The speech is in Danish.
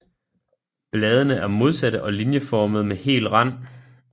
Bladene er modsatte og linjeformede med hel rand